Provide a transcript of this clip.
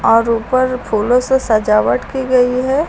और ऊपर फूलों से सजावट की गई है।